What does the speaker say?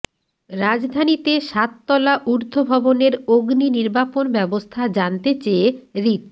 রাজধানীতে সাত তলা ঊর্ধ্ব ভবনের অগ্নি নির্বাপণ ব্যবস্থা জানতে চেয়ে রিট